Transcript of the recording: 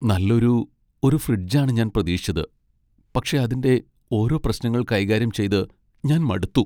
നല്ലൊരു ഒരു ഫ്രിഡ്ജ് ആണ് ഞാൻ പ്രതീക്ഷിച്ചത് , പക്ഷേ അതിന്റെ ഓരോ പ്രശ്നങ്ങൾ കൈകാര്യം ചെയ്ത് ഞാൻ മടുത്തു.